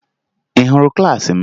Ị hụrụ klaasị m?